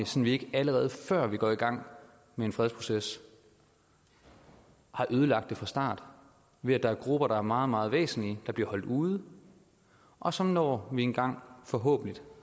så vi ikke allerede før vi går i gang med en fredsproces har ødelagt det fra start ved at der er grupper der er meget meget væsentlige der bliver holdt ude og som når vi engang forhåbentlig